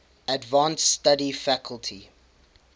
advanced study faculty